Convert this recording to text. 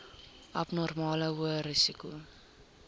abnormale hoë risiko